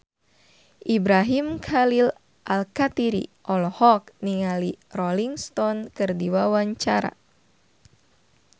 Ibrahim Khalil Alkatiri olohok ningali Rolling Stone keur diwawancara